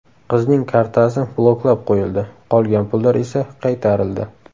Qizning kartasi bloklab qo‘yildi, qolgan pullar esa qaytarildi.